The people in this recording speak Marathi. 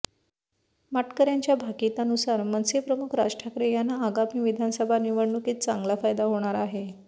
माटकरयांच्या भाकिता नुसार मनसे प्रमुख राज ठाकरे यांना आगामी विधानसभा निवडणुकीत चांगला फायदा होणार आहे